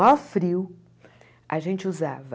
Maior frio, a gente usava...